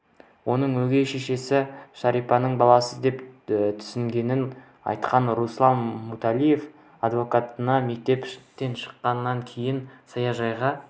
оның өгей шешесі шарипаның баласы деп түсінгенін айтқан руслан муталиев адвокатына мектептен шыққаннан кейін саяжайға